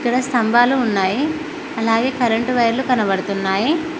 ఇక్కడ స్తంభాలు ఉన్నాయి అలాగే కరెంటు వైర్లు కనబడుతున్నాయి.